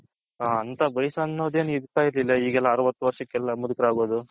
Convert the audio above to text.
ಅಂತ ವಯಸು ಅನ್ನೋದು ಎನ್ ಇರ್ಥೈರ್ಲಿಲ್ಲ ಈಗೆಲ್ಲ ಅರವತು ವರಷಕೆಲ್ಲ ಮುದುಕರ್ ಆಗೋದು